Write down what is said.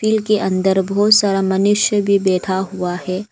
के अंदर बहुत सारा मनुष्य भी बैठा हुआ है।